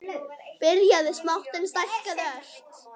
Byrjað smátt, en stækkað ört.